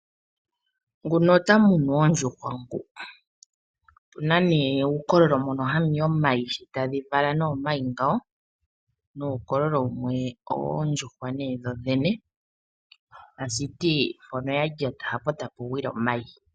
Nguno ota munu oondjuhwa ngu ! Opuna nee uukololo mono hamu yi omayi shi tadhi vala nee omayi ngawo , nuukololo wumwe owoondjuhwa nee dho dhene . Tashiti mpono ya lyata hapo tapu gwile omayi .